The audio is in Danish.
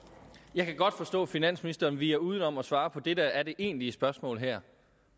jeg kan godt forstå at finansministeren viger udenom at svare på det der er det egentlige spørgsmål her